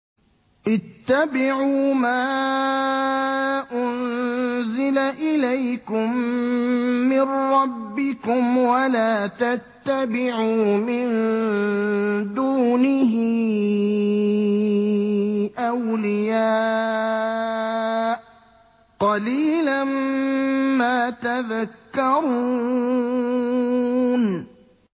اتَّبِعُوا مَا أُنزِلَ إِلَيْكُم مِّن رَّبِّكُمْ وَلَا تَتَّبِعُوا مِن دُونِهِ أَوْلِيَاءَ ۗ قَلِيلًا مَّا تَذَكَّرُونَ